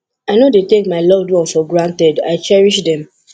i no dey take my loved ones for granted i cherish dem